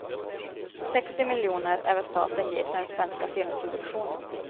Sextio miljoner är vad staten ger till den svenska filmproduktionen.